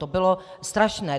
To bylo strašné.